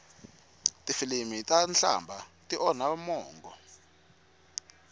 tifilimi ta nhlamba ti onha mongo